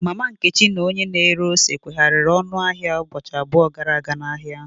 Mama Nkechi na onye na ere ose kwehariri ọnụ ahịa ụbọchị abụọ gara aga n'ahịa ahụ.